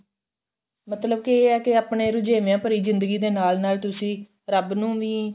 ਮਤਲਬ ਕੀ ਇਹ ਏ ਕਿ ਆਪਣੇ ਰੁਝੇਵੇਆਂ ਭਰੀ ਜ਼ਿੰਦਗੀ ਦੇ ਨਾਲ ਨਾਲ ਤੁਸੀਂ ਰੱਬ ਨੂੰ ਵੀ